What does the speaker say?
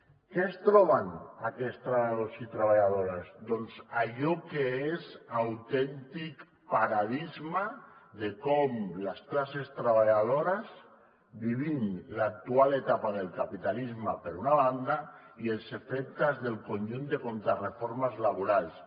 què es troben aquests treballadors i treballadores doncs allò que és autèntic paradigma de com les classes treballadores vivim l’actual etapa del capitalisme per una banda i els efectes del conjunt de contrareformes laborals